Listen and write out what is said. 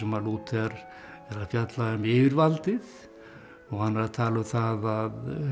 Lúther er að fjalla um yfirvaldið og hann er tala um það